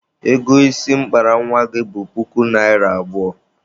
Ego isi m kpara nwa gị bụ puku naịra abụọ.